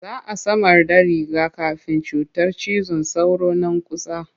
Za a samarda riga-kafin cutar cizon sauro nan kusa.